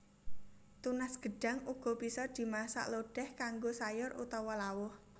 Tunas gedhang uga bisa dimasak lodèh kanggo sayur utawa lawuh